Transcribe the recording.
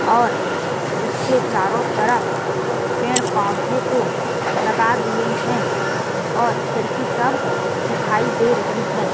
और उसके चारों तरफ़ पेड़-पाउधे को लगा दिए है और खिड़की सब दिखाई दे रही हैं ।